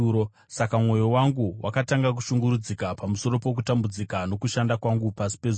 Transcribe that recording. Saka mwoyo wangu wakatanga kushungurudzika pamusoro pokutambudzika nokushanda kwangu pasi pezuva.